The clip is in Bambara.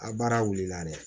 A baara wulila dɛ